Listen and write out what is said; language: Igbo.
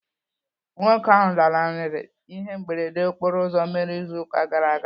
Nwoke ahụ lanarịrị ihe mberede okporo ụzọ mere ịzụ ụka gara aga.